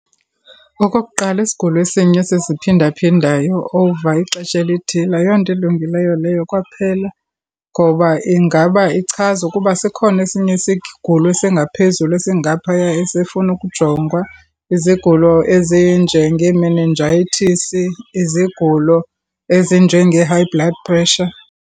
Okokuqala isigulo esinye esiziphindaphindayo over ixesha elithile ayonto ilungileyo leyo kwaphela ngoba ingaba ichaza ukuba sikhona esinye isigulo esingaphezulu esingaphaya esifuna ukujongwa. Izigulo ezinjengeemenenjayithisi, izigulo ezinjengee-high blood pressure.